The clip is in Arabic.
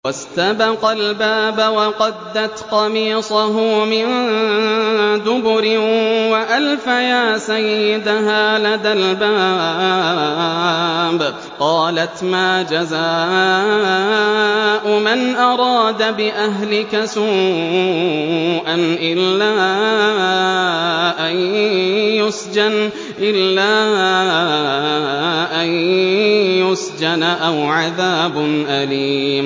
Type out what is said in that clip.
وَاسْتَبَقَا الْبَابَ وَقَدَّتْ قَمِيصَهُ مِن دُبُرٍ وَأَلْفَيَا سَيِّدَهَا لَدَى الْبَابِ ۚ قَالَتْ مَا جَزَاءُ مَنْ أَرَادَ بِأَهْلِكَ سُوءًا إِلَّا أَن يُسْجَنَ أَوْ عَذَابٌ أَلِيمٌ